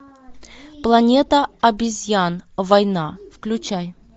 планета обезьян война включай